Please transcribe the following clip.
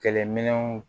Kɛlɛminɛnw